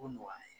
O nɔgɔyalen